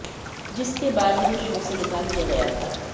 जिसके बाद उन्हें शो से निकाल दिया गया था